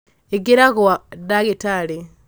ingĩra gwa ndagĩtarĩ